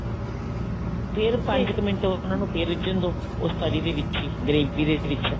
ਫ਼ੇਰ ਪੰਜ ਮਿੰਟ ਕ ਉਹਨੂੰ ਫ਼ੇਰ ਰਿੱਝਣ ਦੋ ਉਸ ਤਰੀ ਦੇ ਵਿੱਚ gravy ਦੇ ਵਿੱਚ